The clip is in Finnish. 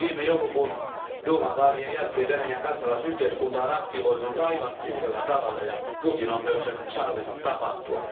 Viime joulukuun duuman vaalien jälkeen Venäjän kansalaisyhteiskunta on aktivoitunut aivan uudella tavalla ja Putin on myös sen sallinut tapahtua.